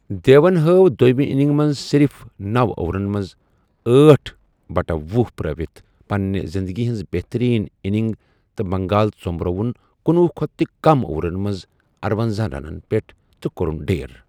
دیون ہٲو دویمہِ اننگہِ منز صرف نوَ اورن منز أٹھ بٹہ ۄہُ پرٚٲوِتھ پننہِ زِندگی ہنز بہترین ِاننگ تہٕ بنگال ژوٚمرووُن کنۄہُ کھوتہٕ تہِ کم اورن منز ارَونزاہ رنن پیٹھ تہٕ کوٚرُن ڈھیر ۔